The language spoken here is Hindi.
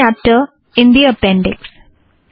first chapter in the appendix